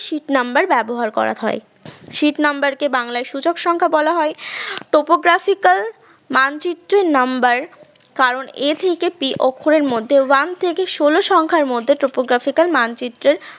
sheet number ব্যবহার করা হয় sheet number কে বাংলায় সূচক সংখ্যা বলা হয়, topographical মানচিত্রের number কারণ a থেকে p অক্ষরের মধ্যে one থেকে ষোল সংখ্যার মধ্যে তার মানচিত্রের